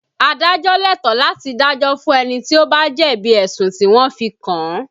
Adájọ́ lẹ́tọ̀ọ́ láti dájọ́ fún ẹni tí ó bá jẹ̀bi ẹ̀sùn tí wọ́n fi kàn án